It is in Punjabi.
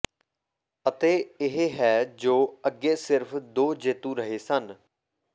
ਅਤੇ ਇਹ ਹੈ ਜੋ ਅੱਗੇ ਸਿਰਫ਼ ਦੋ ਜੇਤੂ ਰਹੇ ਸਨ